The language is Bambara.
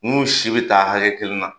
N'u si bɛ taa hakɛ kelen na.